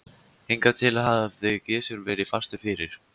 Hingað til hafði Gizur verið fastur fyrir.